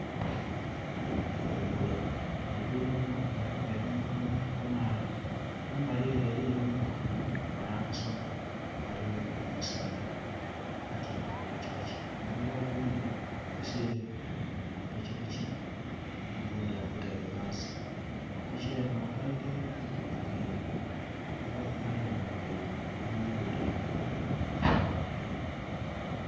Olugudho olugudho luno luliku ebintu kamala kamala kumbali ere eriyo emotoka ghano aghasoka, ghaligho omusaadha atyaime ku pikipiki omugulu ogundhi agusire ku piipiki ogundhi agutaire ghansi. Epiki enho nkaire nkaire era ikumanha nga nkaire eri mu UDM nkaire.